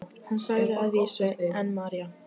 Hann sagði að vísu: en María?